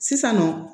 Sisan nɔ